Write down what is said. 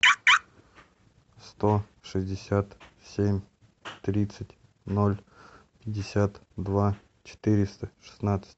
сто шестьдесят семь тридцать ноль пятьдесят два четыреста шестнадцать